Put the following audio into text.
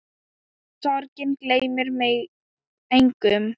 Sorgin gleymir engum.